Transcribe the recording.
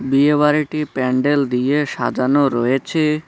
বিয়ে বাড়িটি প্যান্ডেল দিয়ে সাজানো রয়েছে।